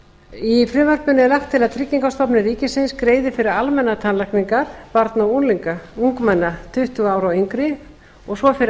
í frumvarpinu er lagt til að tryggingastofnun ríkisins greiði fyrir almennar tannlækningar barna og ungmenna tuttugu ára og yngri svo og fyrir